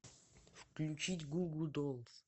включить гу гу долс